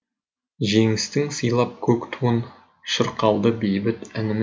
жеңістің сыйлап көк туын шырқалды бейбіт әніміз